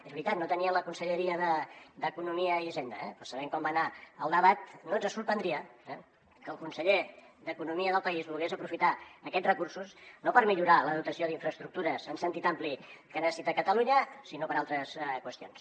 és veritat no tenien la conselleria d’economia i hisenda eh però sabent com va anar el debat no ens sorprendria que el conseller d’e conomia del país volgués aprofitar aquests recursos no per millorar la dotació d’infraestructures en sentit ampli que necessita catalunya sinó per a altres qüestions